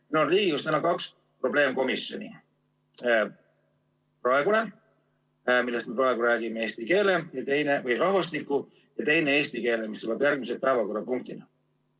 Täna on Riigikogus kaks probleemkomisjoni: see, millest ma praegu räägin, rahvastiku probleemkomisjon ja teine, eesti keele probleemkomisjon, mis tuleb järgmise päevakorrapunktina.